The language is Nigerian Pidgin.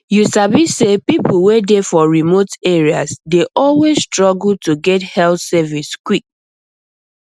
you sabi say people wey dey for remote areas dey always struggle to get health service quick